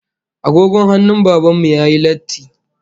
Agogon hannun Baban mu yayi latti